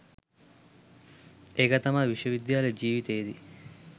ඒක තමයි විශ්ව විද්‍යාල ජීවිතේදි